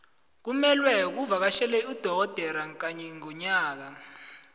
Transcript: kumelwe uvakatjhele udogodera kanye ngonyaka